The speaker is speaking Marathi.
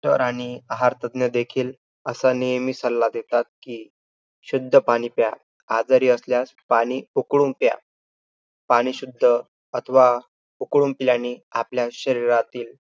तर आणि आहारतज्ज्ञ देखील असा नेहमी सल्ला देतात कि, शुद्ध पाणी प्या. आजारी असल्यास पाणी उकळून प्या. पाणी शुद्ध अथवा उकळून पिल्याने आपल्या शरीरातील